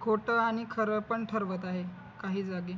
खोटं आणि खरं पण ठरवत आहे काही जागी